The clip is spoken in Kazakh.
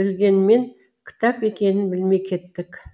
білгенмен кітап екенін білмей кеттік